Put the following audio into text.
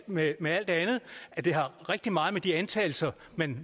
med med alt andet at det har rigtig meget med de antagelser man